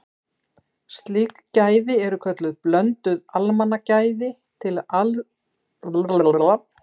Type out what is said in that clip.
Slík gæði eru kölluð blönduð almannagæði til aðskilnaðar frá hreinum almannagæðum.